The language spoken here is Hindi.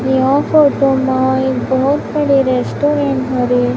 यह फोटो माय एक बहोत बड़ी रेस्टोरेंट हरी--